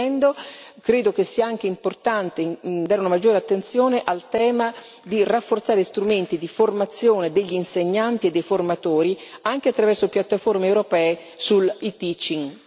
Concludendo, credo che sia anche importante dare una maggiore attenzione al tema di rafforzare strumenti di formazione degli insegnanti e dei formatori anche attraverso piattaforme europee sull'e Teaching.